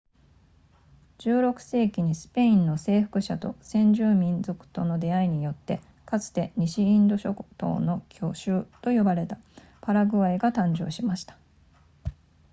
16世紀にスペインの征服者と先住民族との出会いによってかつて西インド諸島の巨州と呼ばれたパラグアイが誕生しました